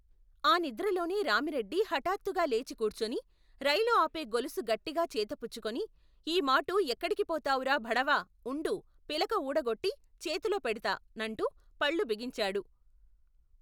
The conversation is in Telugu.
ఆ నిద్రలోనే రామిరెడ్డి హఠాత్తుగా లేచి కూర్చుని రైలు ఆపే గొలుసు గట్టిగా చేతపుచ్చుకొని ఈమాటు ఎక్కడికి పోతావురా భడవా ఉండు పిలక ఊడగొట్టి, చేతులో పెడతా, నంటూ, పళ్లు బిగించాడు.